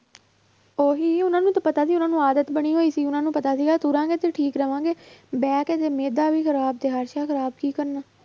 ਉਹੀ ਉਹਨਾਂ ਨੂੰ ਤਾਂ ਪਤਾ ਵੀ ਉਹਨਾਂ ਨੂੰ ਆਦਤ ਬਣੀ ਹੋਈ ਸੀ ਉਹਨਾਂ ਨੂੰ ਪਤਾ ਸੀਗਾ ਤੁਰਾਂਗੇ ਤਾਂ ਠੀਕ ਰਹਾਂਗੇ, ਬਹਿ ਕੇ ਤੇ ਮਿਹਦਾ ਵੀ ਖ਼ਰਾਬ ਤੇ ਖ਼ਰਾਬ ਕੀ ਕਰਨਾ